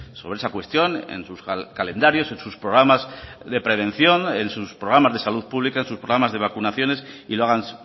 sobre esa cuestión en sus calendarios en sus programas de prevención en sus programas de salud pública en sus programas de vacunaciones y lo hagan